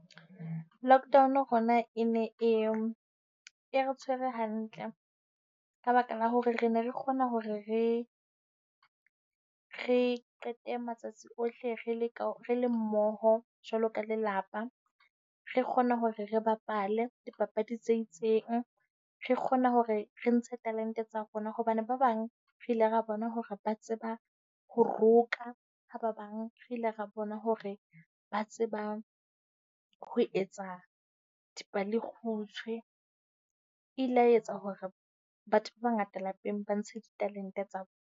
Lockdown rona e ne e, e re tshwere hantle ka baka la hore re ne re kgona hore re re qete matsatsi ohle re le ka re le mmoho jwalo ka lelapa. Re kgona hore re bapale dipapadi tse itseng, re kgona hore re ntshe talente tsa rona hobane ba bang re ile ra bona hore ba tseba ho roka. Ha ba bang re ile ra bona hore ba tseba ho etsa dipalekgutshwe. E ile ya etsa hore batho ba bangata lapeng ba ntshe ditalente tsa .